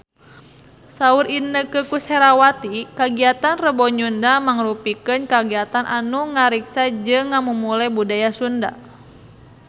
Saur Inneke Koesherawati kagiatan Rebo Nyunda mangrupikeun kagiatan anu ngariksa jeung ngamumule budaya Sunda